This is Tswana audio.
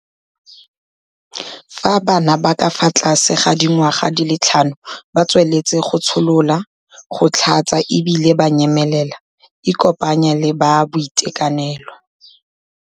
Fa bana ba ba ka fa tlase ga dingwaga di le tlhano ba tsweletse go tsholola, go tlhatsa e bile ba nyemelela, ikopanye le ba boitekanelo.